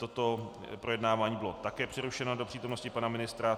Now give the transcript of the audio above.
Toto projednávání bylo také přerušeno do přítomnosti pana ministra.